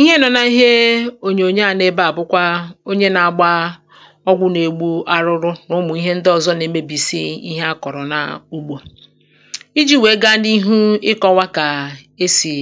Ihe nọ nà ihe ònyònyoò à nọ ebe à bụkwa onye na agba ọgwụ na-egbu arụrụ nà ụmụ̀ ihe ndị ọzọ na emebìsi ihe a kọ̀rọ̀ n’ugbō iji wèe gaa n’ihu ịkọwa kà esì